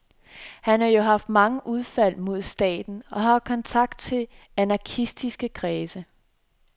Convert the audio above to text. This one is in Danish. Han har jo haft mange udfald mod staten og har kontakt til anarkistiske kredse.